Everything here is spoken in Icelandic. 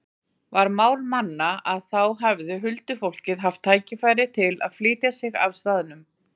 Var mál manna að þá hefði huldufólkið haft tækifæri til að flytja sig af staðnum.